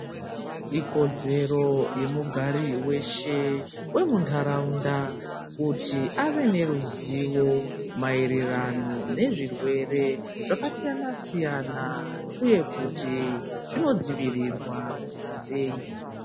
Ikodzero yemugari weshe vemundaraunda kuti vave neruzivo maererano nezvirwere zvakasiyana siyana uye kuti zvinodzivirirwa sei.